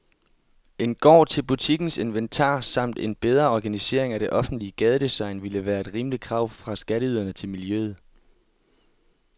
En gård til butikkens inventar samt en bedre organisering af det offentlige gadedesign ville være et rimeligt krav fra skatteyderne til miljøet.